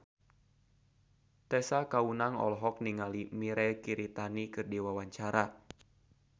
Tessa Kaunang olohok ningali Mirei Kiritani keur diwawancara